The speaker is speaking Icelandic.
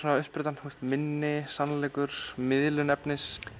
uppsprettan minni sannleikur miðlun efnis